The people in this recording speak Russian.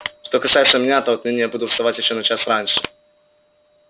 что касается меня то отныне я буду вставать ещё на час раньше